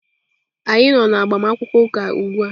Anyị nọ na agbamakwụkwọ ụka ugbu a.